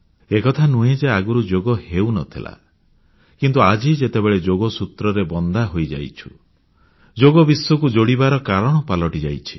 ଏକଥା ନୁହେଁ ଯେ ଆଗରୁ ଯୋଗ ହେଉ ନଥିଲା କିନ୍ତୁ ଆଜି ଯେତେବେଳେ ଯୋଗସୂତ୍ରରେ ବନ୍ଧା ହୋଇଯାଇଛୁ ଯୋଗ ବିଶ୍ୱକୁ ଯୋଡ଼ିବାର କାରଣ ପାଲଟିଯାଇଛି